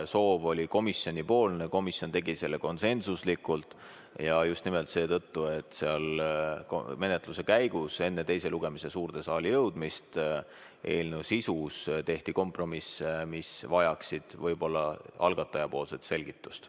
Soov tuli komisjonilt, komisjon tegi selle konsensuslikult ja just nimelt seetõttu, et menetluse käigus enne teise lugemise suurde saali jõudmist tehti eelnõu sisus kompromiss, mis vajaks võib-olla algatajapoolset selgitust.